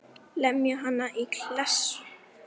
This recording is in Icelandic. Lemja hann í klessu.